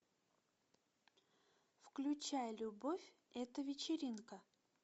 включай любовь это вечеринка